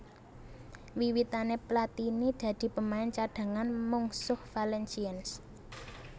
Wiwitané Platini dadi pemain cadhangan mungsuh Valenciennes